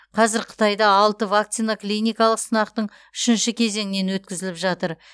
қазір қытайда алты вакцина клиникалық сынақтың үшінші кезеңінен өткізіліп жатыр